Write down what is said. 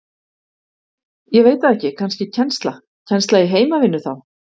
Ég veit það ekki, kannski kennsla Kennsla í heimavinnu þá?